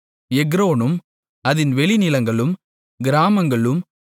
எக்ரோனும் அதின் வெளிநிலங்களும் கிராமங்களும்